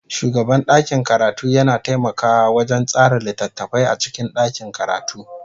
Shugaban ɗakin karatu yana taimakawa wajen tsara littattafai a cikin ɗakin karatu.